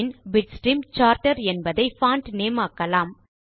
பின் Bitstream Charter என்பதை font name ஆக்கலாம்